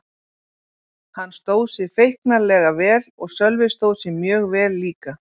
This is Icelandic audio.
Hann stóð sig feiknarlega vel og Sölvi stóð sig mjög vel líka.